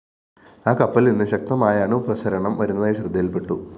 ആ കപ്പലില്‍നിന്ന്‌ ശക്തമായ അണുപ്രസരണം വരുന്നതായി ശ്രദ്ധയില്‍പ്പെട്ടു